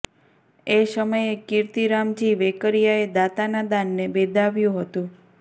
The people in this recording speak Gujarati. એ સમયે કીર્તિ રામજી વેકરિયાએ દાતાના દાનને બિરદાવ્યું હતું